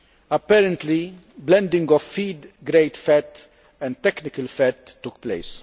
apparently, blending of feed grade fat and technical fat took place.